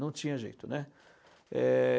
Não tinha jeito, né. É...